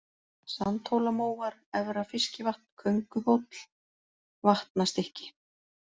Sandhólamóar, Efra-Fiskivatn, Könguhóll, Vatnastykki